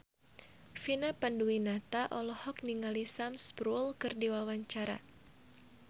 Vina Panduwinata olohok ningali Sam Spruell keur diwawancara